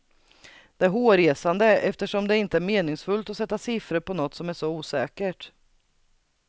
Det är hårresande, eftersom det inte är meningsfullt att sätta siffror på något som är så osäkert.